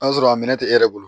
N'a sɔrɔ a minɛ tɛ e yɛrɛ bolo